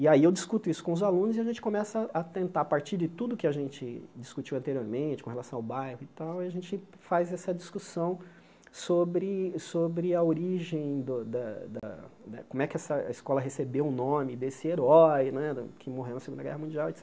E aí eu discuto isso com os alunos e a gente começa a tentar, a partir de tudo que a gente discutiu anteriormente, com relação ao bairro e tal, a gente faz essa discussão sobre sobre a origem do da da, como é que a escola recebeu o nome desse herói né da que morreu na Segunda Guerra Mundial, et